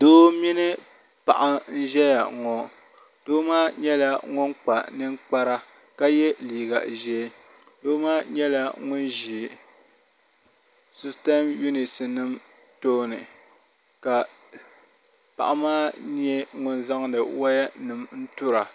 doo mini paɣa n-ʒiya ŋɔ doo maa nyɛla ŋun kpa ninkpara ka ye liiga ʒee doo maa nyɛ ŋun ʒi sitams yunisi nima tooni ka paɣa maa nyɛ ŋun zaŋdi wayanima n-turi a